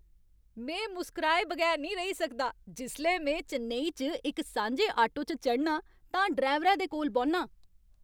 में मुस्कराए बगैर नेईं रेही सकदा जिसलै में चेन्नई च इक सांझे आटो च चढ़नां ते ड्राइवरै दे कोल बौह्न्नां।